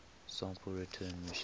sample return missions